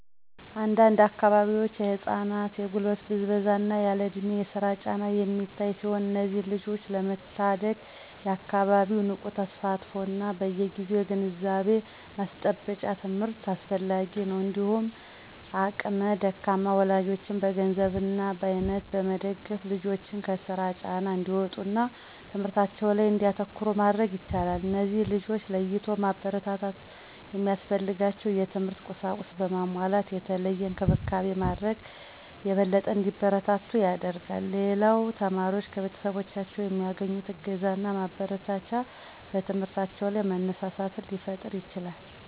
አንድ አንድ አካባቢዎች የህፃናት የጉልበት ብዝበዛ እና ያለእድሜ የስራ ጫና የሚታይ ሲሆን እነዚህን ልጆች ለመታደግ የአካባቢው ንቁ ተሳትፎ እና በየግዜው የግንዛቤ ማስጨበጫ ትምህርት አስፈላጊ ነው። እንዲሁም አቅመ ደካማ ወላጆችን በገንዘብ እና በአይነት በመደገፍ ልጆችን ከስራ ጫና እንዲወጡ እና ትምህርታቸው ላይ እንዲያተኩሩ ማድረግ ይቻላል። እነዚህን ልጆች ለይቶ ማበረታታት እና ሚያስፈልጋቸውን የትምህርት ቁሳቁስ በማሟላት የተለየ እንክብካቤ ማድረግ የበለጠ እንዲበረቱ ያደርጋል። ሌላው ተማሪዎች ከቤተሰቦቻቸው የሚያገኙት እገዛና ማበረታቻ በትምህርታቸው ላይ መነሳሳትን ሊፈጥርላቸው ይችላል።